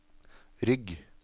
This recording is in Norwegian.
rygg